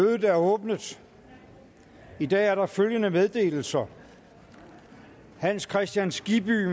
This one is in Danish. mødet er åbnet i dag er der følgende meddelelser hans kristian skibby